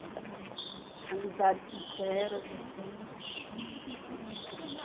Eram umas amizades sinceras, assim, bem legal mesmo.